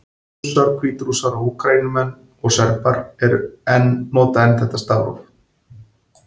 Rússar, Hvítrússar, Úkraínumenn og Serbar nota enn þetta stafróf.